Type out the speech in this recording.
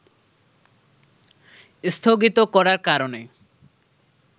স্থগিত করার কারণে